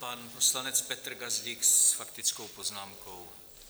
Pan poslanec Petr Gazdík s faktickou poznámkou.